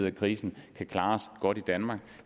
af krisen kan klare os godt i danmark